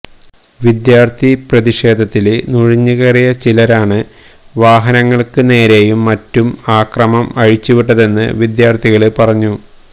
വിദ്യാര്ത്ഥി പ്രതിഷേധത്തില് നുഴഞ്ഞുകയറിയ ചിലരാണ് വാഹനങ്ങള്ക്ക് നേരെയും മറ്റും ആക്രമം അഴിച്ചുവിട്ടതെന്ന് വിദ്യാര്ത്ഥികള് പറഞ്ഞു